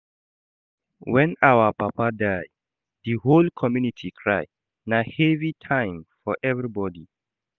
Wen our Papa die, di whole community cry, na heavy time for everybodi.